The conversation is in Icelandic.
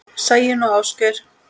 Sæunn og Ásgeir.